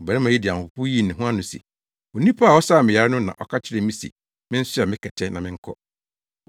Ɔbarima yi de ahopopo yii ne ho ano se, “Onipa a ɔsaa me yare no na ɔka kyerɛɛ me se mensoa me kɛtɛ na menkɔ.”